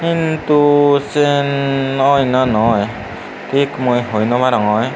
hintu siyen oi na noi thik mui hoi now arongor.